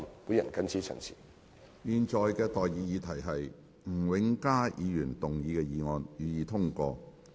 我現在向各位提出的待議議題是：吳永嘉議員動議的議案，予以通過。